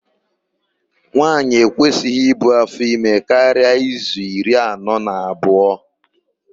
Nwaanyị ekwesịghị ibu áfọime karịa izu iri anọ na abụọ.